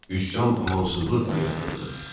Üsyan amansızlıqla yatırıldı.